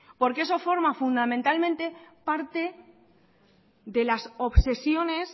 porque eso forma fundamentalmente parte de las obsesiones